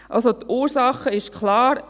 Also: Die Ursache ist klar.